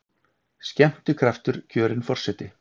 Skemmtikraftur kjörinn forseti